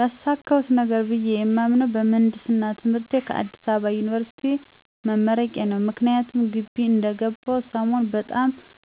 ያሳካሁት ነገር ብየ የማምነው በምህንድስና ትምህርት ከአዲስ አበባ ዩኒበርሲቲ መመረቄ ነው። ምክንያቱም ግቢ እንደገባሁ ሰሞን በጣም